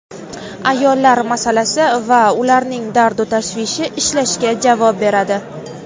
ayollar masalasi va ularning dardu-tashvishi ishlashga javob beradi.